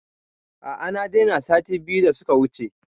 A a na daina sati biyu da suka wuce